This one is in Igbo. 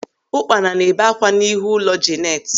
Ụkpana na-ebe ákwá n'ihu ụlọ Jenet.